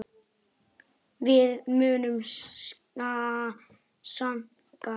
Við munum sakna hennar.